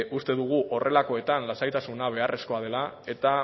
uste dugu horrelakoetan lasaitasuna beharrezkoa dela eta